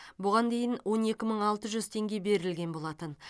бұған дейін он екі мың алты жүз теңге берілген болатын